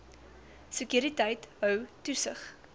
sekuriteit hou toesig